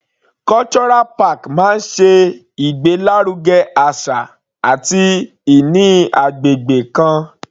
Cultural park máa ṣe ìgbé lárugẹ àṣà àti ìní agbègbè kan.